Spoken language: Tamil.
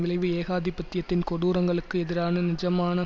விளைவு ஏகாதிபத்தியத்தின் கொடூரங்களுக்கு எதிரான நிஜமான